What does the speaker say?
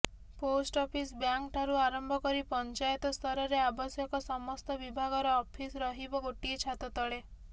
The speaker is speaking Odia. ପୋଷ୍ଟଅଫିସ୍ ବ୍ୟାଙ୍କ ଠାରୁ ଆରମ୍ଭ କରି ପଞ୍ଚାୟତସ୍ତରରେ ଆବଶ୍ୟକ ସମସ୍ତ ବିଭାଗର ଅଫିସ ରହିବ ଗୋଟିଏ ଛାତ ତଳେ